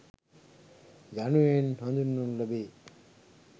යනුවෙන් හඳුන්වනු ලැබේ.